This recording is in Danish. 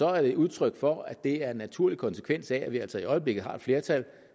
er det et udtryk for at det er en naturlig konsekvens af at vi altså i øjeblikket har et flertal